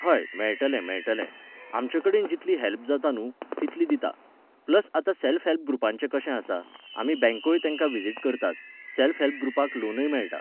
हय, मेळटलें मेळटलें. आमचेकडेन जितली हॅल्प जाता न्हू, तितली दितां. प्लस आतां सॅल्फ हॅल्प ग्रुपांचें कशें आसा, आमी बँकोय तेंका व्हिजिट करतात, सॅल्फ हेल्प ग्रुपांक लोनय मेळटा